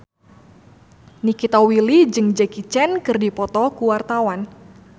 Nikita Willy jeung Jackie Chan keur dipoto ku wartawan